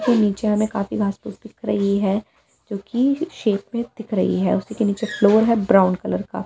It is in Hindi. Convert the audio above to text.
के नीचे हमें का दिख रही है जो कि शेप में दिख रही है उसी के नीचे फ्लोर है ब्राउन कलर का।